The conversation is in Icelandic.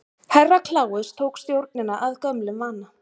Herra Kláus tók stjórnina að gömlum vana.